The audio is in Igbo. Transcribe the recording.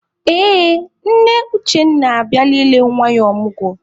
Ee, nne Uchenna abịala ile nwa ya ọmụgwọ.